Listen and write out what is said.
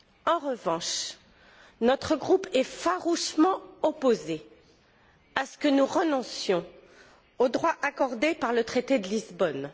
En revanche, notre groupe est farouchement opposé à ce que nous renoncions aux droits accordés par le traité de Lisbonne.